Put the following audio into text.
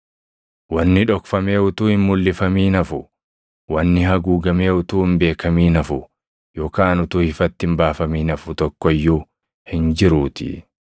Wanni dhokfamee utuu hin mulʼifamin hafu, wanni haguugamee utuu hin beekamin hafu yookaan utuu ifatti hin baafamin hafu tokko iyyuu hin jiruutii.